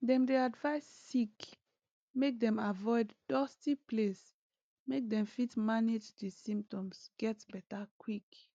dem dey advise sick make dem avoid dusty place make dem fit manage di symptoms get beta quick